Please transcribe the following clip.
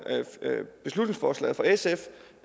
beslutningsforslaget fra sf